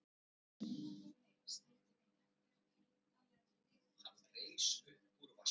Og þegar Milla kom heim skildi hún ekkert í undarlegri lykt sem fyllti íbúðina.